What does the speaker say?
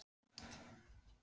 Þorbjörn: Að beiðni hvers?